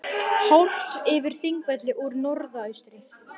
Horft yfir Þingvelli úr norðaustri.